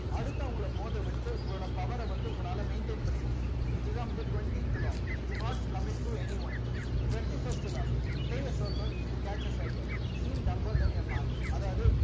அடுத்து அவங்களை மோதவிட்டு உங்களோட power அ வந்து உங்களால maintain பண்ணிக்க இதுதான் வந்து twentieth law do not coming to anyone twenty first law player circle to catch a circer mark அதாவது